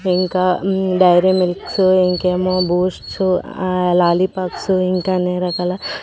ఇంకా Dairy Milks ఇంకేమో Boosts ఆ లాలీపాప్స్ ఇంకా అన్ని రకాల --